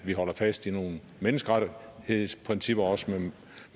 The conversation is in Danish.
vi holder fast i nogle menneskerettighedsprincipper og også